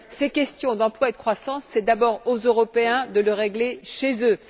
Ces questions d'emploi et de croissance, c'est d'abord aux Européens de les régler chez eux.